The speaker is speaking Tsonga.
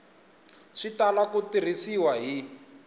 swi tala ku tirhisiwa hi